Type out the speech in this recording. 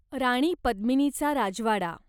राणी पद्मिनीचा राजवाडा